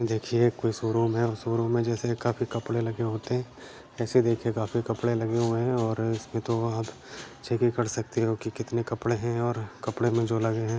देखिये कोई शोरुम है और शोरुम मे जैसे काफी कपड़े लगे होते हैं ऐसे देखिये काफी कपड़े लगे हुए हैं और इसमे तो आप चेकिंग कर सकते हो कि कितने कपड़े हैं और कपड़े मे जो लगे हैं।--